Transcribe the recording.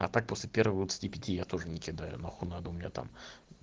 а так после первого двадцати пяти я тоже не кидаю нахуй надо у меня там